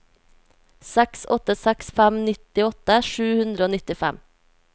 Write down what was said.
seks åtte seks fem nittiåtte sju hundre og nittifem